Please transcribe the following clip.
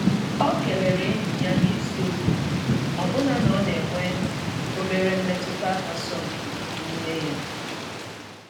O kelere enyi ya n’ezi obi, ọbụna na ọ na enwe obere mmetụta asọmpi n'ime ya.